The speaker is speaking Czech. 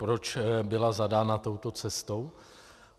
Proč byla zadána touto cestou?